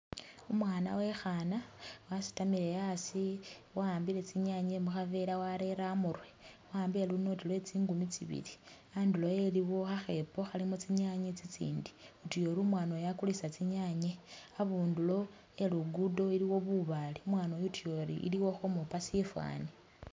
Umwana wekhana wasitamile asi wa'ambile tsinyanye mukha vela warere amurwe, wa'ambile lu note lwe tsingumi tsibili, andulo ewe iliwo khakhepo khalimo tsinyanye tsitsindi, utuya ori umwana uyu akulisa tsinyanye, abundulo e lugudo iliwo bubale, umwana uyu utuya ori iliwo ukhomupa sifwani